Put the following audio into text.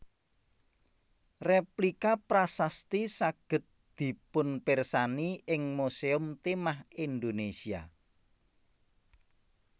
Rèplika prasasti saged dipunpirsani ing Musèum Timah Indonesia